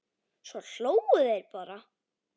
Svo hlógu þeir bara.